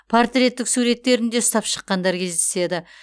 портреттік суреттерін де ұстап шыққандар кездеседі